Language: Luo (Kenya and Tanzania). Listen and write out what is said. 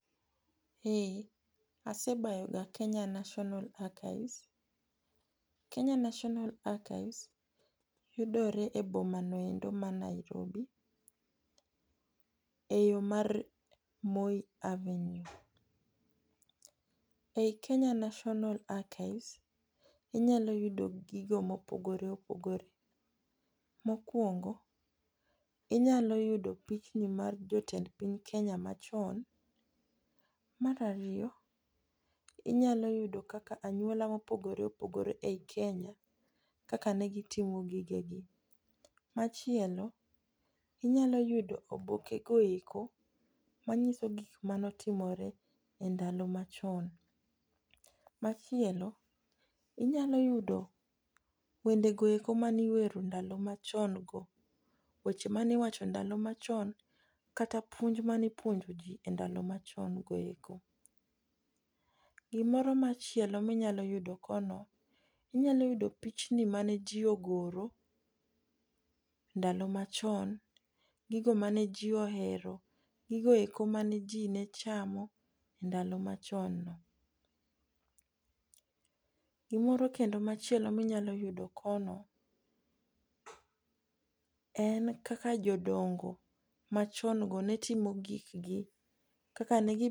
Eh asebayoga Kenya National Archives. Kenya National Archives yudore e bomano endo ma Nairobi e yo mar Moi avenue. E i Kenya Nationa Archives, inyalo yudo gigo mopogore opogore. Mokwongo, inyalo yudo pichni mar jotend piny Kenya machon. Mar ariyo, inyalo yudo kaka anyuola mopogore opogore e i Kenya kaka ne gitimo gigegi. Machielo, inyalo yudo oboke go eko manyiso gik manotimore e ndalo machon. Machielo, inyalo yudo wendego eko maniwero ndalo machon go weche maniwacho ndalo machon kata puonj manipuonjo ji e ndalo machon go eko. Gimoro machielo minyalo yudo kono, inyalo yudo pichni mane ji ogoro ndalo machon, gigo mane ji ohero, gigo eko mane ji ne chamo e ndalo machon no. Gimoro kendo machielo minyalo yudo kono en kaka jodongo machon go ne timo gikgi, kaka ne..